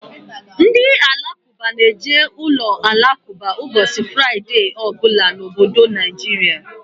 Ndị Alakụba na-eje uloalakụba ụbọchị Fraịdee ọ bụla n'obodo Naijiria.